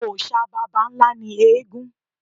Òòṣà baba ńlá ni eégún.